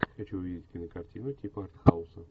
хочу увидеть кинокартину типа артхауса